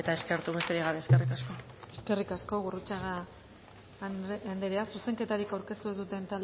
eskertu besterik gabe eskerrik asko eskerrik asko gurrutxaga andrea zuzenketarik aurkeztu ez